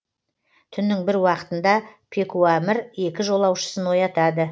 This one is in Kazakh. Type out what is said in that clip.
түннің бір уақытында пекуамір екі жолаушысын оятады